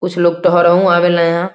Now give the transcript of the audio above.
कुछ लोग